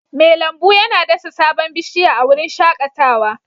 Mai lambu yana dasa sabon bishiya a wurin shakatawa